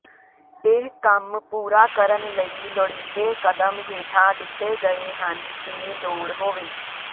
ਇਹ ਕੰਮ ਪੂਰਾ ਕਰਨ ਲਈ ਲੋੜੀਂਦੇ ਕਦਮ ਹੇਠਾਂ ਦਿੱਤੇ ਗਏ ਹਨ ਜੇ ਲੋੜ ਹੋਵੇ